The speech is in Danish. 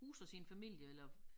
Huser sin familie eller